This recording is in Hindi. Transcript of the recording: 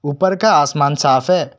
ऊपर का आसमान साफ है।